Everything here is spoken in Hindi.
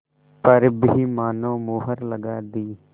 पर भी मानो मुहर लगा दी